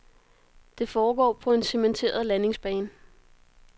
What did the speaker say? Det foregår på en cementeret landingsbane.